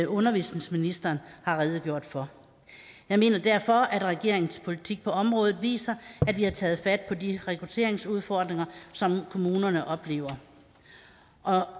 undervisningsministeren har redegjort for jeg mener derfor at regeringens politik på området viser at vi har taget fat på de rekrutteringsudfordringer som kommunerne oplever og